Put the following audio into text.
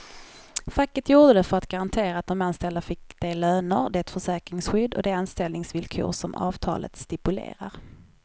Facket gjorde det för att garantera att de anställda fick de löner, det försäkringsskydd och de anställningsvillkor som avtalet stipulerar.